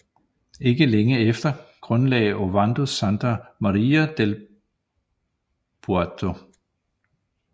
Ikke længe efter grundlagde Ovando Santa Maria del Puerto